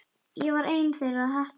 Ég var ein þeirra heppnu.